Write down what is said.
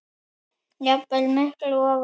jafnvel miklu ofar.